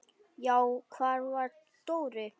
Já, hvar var Dóri?